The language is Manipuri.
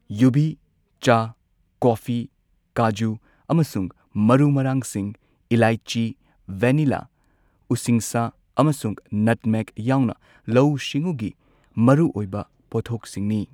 ꯌꯨꯕꯤ, ꯆꯥ, ꯀꯣꯐꯤ, ꯀꯥꯖꯨ, ꯑꯃꯁꯨꯡ ꯃꯔꯨ ꯃꯔꯥꯡꯁꯤꯡ ꯢꯂꯥꯏꯆꯤ, ꯚꯦꯅꯤꯂꯥ, ꯎꯁꯤꯡꯁꯥ, ꯑꯃꯁꯨꯡ ꯅꯠꯃꯦꯒ ꯌꯥꯎꯅ ꯂꯧꯎ ꯁꯤꯡꯎꯒꯤ ꯃꯔꯨꯑꯣꯏꯕ ꯄꯣꯠꯊꯣꯛꯁꯤꯡꯅꯤ꯫